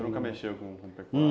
Você nunca mexeu com com? Nunca!